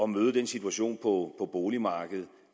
møde den situation på boligmarkedet